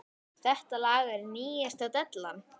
Þetta lag er nýjasta dellan.